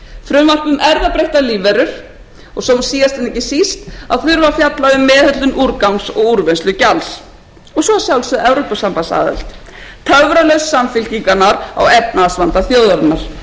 frumvarp um erfðabreyttar lífverur og svo síðast en ekki síst að þurfa að fjalla um meðhöndlun úrgangs og úrvinnslugjalds og svo að sjálfsögðu evrópusambandsaðild töfralausn samfylkingarinnar á efnahagsvanda þjóðarinnar það má vel vera